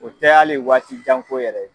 O tɛ hali waati janko yɛrɛ ye.